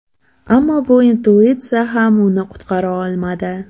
Ammo bu intuitsiya ham uni qutqara olmadi.